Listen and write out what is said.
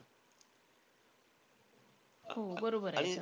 हो बरोबर आहे.